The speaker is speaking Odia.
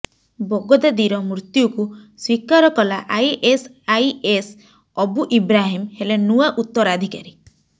ବଗଦାଦୀର ମୃତ୍ୟୁକୁ ସ୍ୱୀକାର କଲା ଆଇଏସଆଇଏସ୍ ଅବୁ ଇବ୍ରାହିମ ହେଲେ ନୂଆ ଉତ୍ତରାଧିକାରୀ